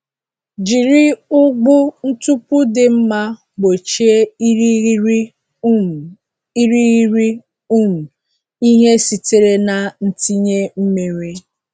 Jiri ụgbụ ntupu dị mma gbochie irighiri um irighiri um ihe sitere na ntinye mmiri.